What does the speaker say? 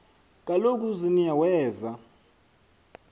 kaloku uziniya weza